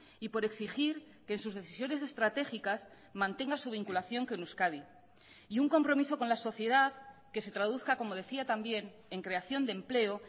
y por exigir que en sus decisiones estratégicas mantenga su vinculación con euskadi y un compromiso con la sociedad que se traduzca como decía también en creación de empleo